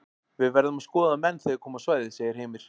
Við verðum að skoða menn þegar þeir koma á svæðið segir Heimir.